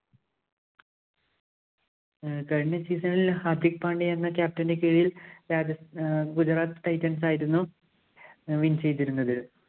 കഴിഞ്ഞ season ഇല്‍ ഹാര്‍ദിക് പാണ്ടേ എന്ന captain ന്റെ കീഴില്‍ രാജസ്ഥാ~ Gujarat Titans ആയിരുന്നു win ചെയ്തിരുന്നത്.